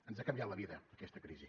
ens ha canviat la vida aquesta crisi